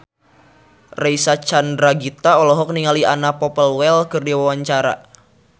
Reysa Chandragitta olohok ningali Anna Popplewell keur diwawancara